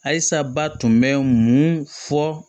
Ayi sa ba tun bɛ mun fɔ